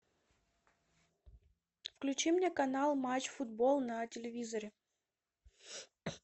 включи мне канал матч футбол на телевизоре